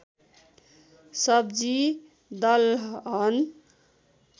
सब्जि दलहन